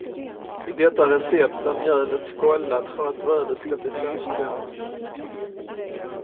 I detta recept är mjölet skållat för att brödet ska bli saftigare.